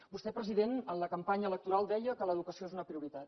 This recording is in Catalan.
vostè president en la campanya electoral deia que l’educació és una prioritat